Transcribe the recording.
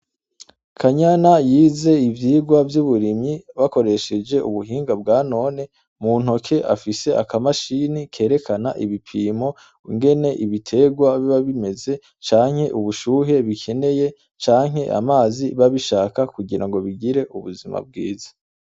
Kanyana yize ivyigwa vy'uburimyi bakoresheje ubuhinga bwa none. Mu ntoke afise akamashini kerekana ibipimo ingene ibitegwa biba bimeze, canke ubushuhe bikeneye canke amazi biba bishaka kugira ngo bigire ubuzima bwiza.